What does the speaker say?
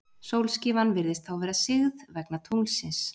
Sólskífan virðist þá vera sigð, vegna tunglsins.